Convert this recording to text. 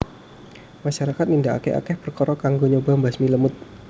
Masyarakat nindakake akeh perkara kanggo nyoba mbasmi lemut